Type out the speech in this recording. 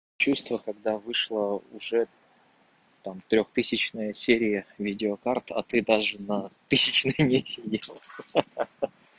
чувство когда вышла уже там трёхтысячная серия видеокарт а ты даже на тысячной не сидел ха-ха